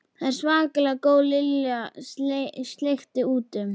Þau eru svakalega góð Lilla sleikti út um.